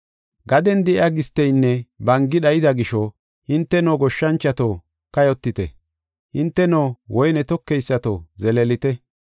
Gaden de7iya gisteynne bangi dhayida gisho, hinteno goshshanchoto, kayotite; hinteno woyne tokeysato, zeleelite!